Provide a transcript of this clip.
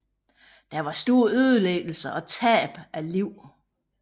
Der var store ødelæggelser og tab af liv